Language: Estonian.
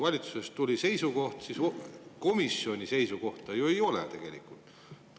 Valitsusest tuli seisukoht, aga komisjoni seisukohta tegelikult ju ei ole.